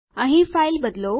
અહીં ફાઇલ બદલો